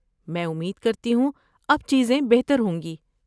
میں امید کرتی ہوں اب چیزیں بہتر ہوں گی؟